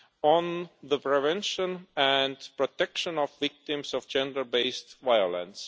on the prevention and protection of victims of gender based violence.